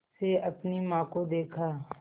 से अपनी माँ को देखा